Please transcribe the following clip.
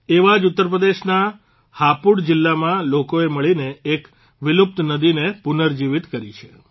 એવા જ ઉત્તરપ્રદેશના હાપુડ જીલ્લામાં લોકોએ મળીને એક વિલુપ્ત નદીને પુનર્જીવીત કરી છે